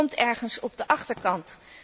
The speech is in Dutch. Het komt ergens op de achterkant.